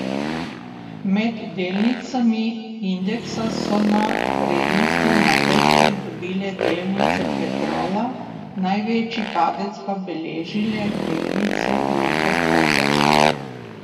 Med delnicami indeksa so na vrednosti največ pridobile delnice Petrola, največji padec pa beležile delnice Luke Koper.